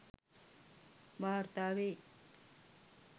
වාර්තා වෙයි.